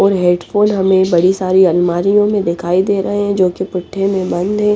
और headphone हमे बड़ी सारी अलमारियो मे दिखाई दे रहे है जो पुट्ठे मे बैंड है ।